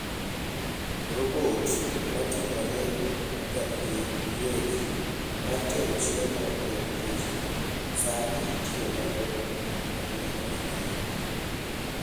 Robot mating'ore kendgi giwegi mar tero chiemo e ute ji, sani itiyo godo e gwenge mang'eny.